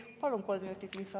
Palun kolm minutit lisaaega.